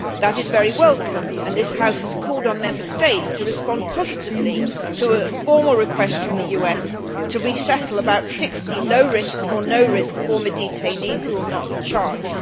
That is very welcome, and this House has called on Member States to respond positively to a formal request from the US to resettle about 60 low risk or no risk former detainees who will not be charged.